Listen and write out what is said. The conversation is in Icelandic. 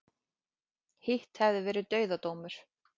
Hitt hefði verið dauðadómur